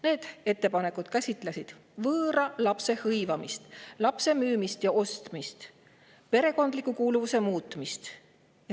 Need ettepanekud käsitlesid võõra lapse hõivamist, lapse müümist ja ostmist ning perekondliku kuuluvuse muutmist.